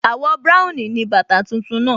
Àwọ̀ búráùn ni bàtà tuntun náà